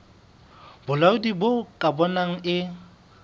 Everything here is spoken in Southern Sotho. bolaodi bo ka bonang e